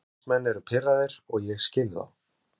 Stuðningsmenn eru pirraðir og ég skil þá.